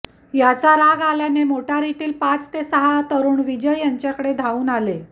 याचा राग आल्याने मोटारीतील पाच ते सहा तरुण विजय यांच्याकडे धावून आले